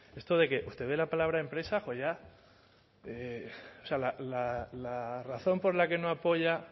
esto de que usted ve la palabra empresa o sea la razón por la que no apoya